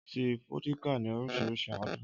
Ọtí fódíkà ní oríṣiríṣi àádùn.